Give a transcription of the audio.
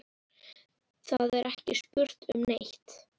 Það er ekki spurt um neitt.